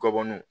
Gɔbɔniw